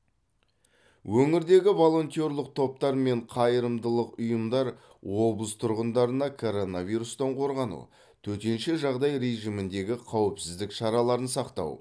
өңірдегі волонтерлық топтар мен қайырымдылық ұйымдар облыс тұрғындарына коронавирустан қорғану төтенше жағдай режиміндегі қауіпсіздік шараларын сақтау